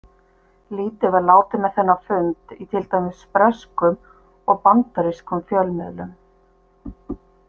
Lítið var látið með þennan fund í til dæmis breskum og bandarískum fjölmiðlum.